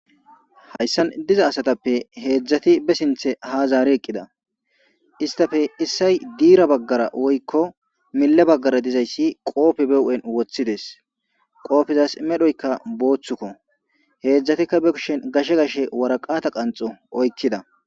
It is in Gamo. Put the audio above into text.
hayssan diza asatappe heedzdzati be sinthe ha zaare eqqida istafe issay diira baggara woykko mille baggara dizayssi qoofe be hu'en woththides qoofizas medhoyka booththukko heedzdzatikka be kushen gashe gashe waraqata qanxo oykkida